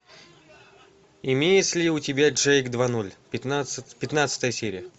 имеется ли у тебя джейк два ноль пятнадцатая серия